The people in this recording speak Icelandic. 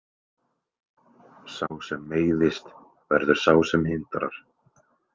Sá sem meiðist verður sá sem hindrar.